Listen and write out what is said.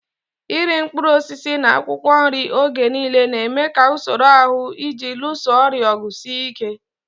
Iri mkpụrụ osisi na akwụkwọ nri oge niile na-eme ka usoro ahụ ji alụso ọrịa ọgụ sie ike.